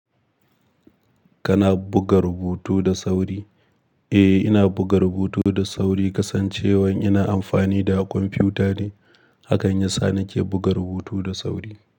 Kana buga rubutu da sauri? Eh, ina buga rubutu da sauri, kasancewan ina amfani da kwamfiyuta ne. Hakan yasa nake buga rubutu da sauri.